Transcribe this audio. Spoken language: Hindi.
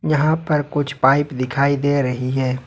यहां पर कुछ पाइप दिखाई दे रही है।